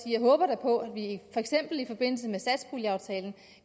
jeg håber på at vi for eksempel i forbindelse med satspuljeaftalen